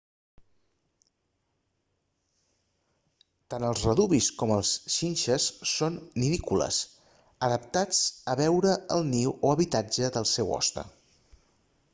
tant els redúvids com les xinxes són nidícoles adaptats a veure en el niu o habitatge del seu hoste